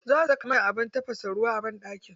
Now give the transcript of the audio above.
Za su saka mana abin tafasa ruwa a banɗaki.